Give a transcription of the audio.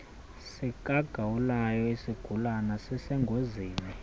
sikagawulayo isigulana sisengozini